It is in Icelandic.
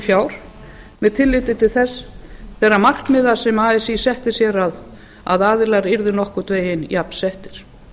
fjár með tilliti til þeirra markmiða sem así setti sér að aðilar yrðu nokkurn veginn jafnsettir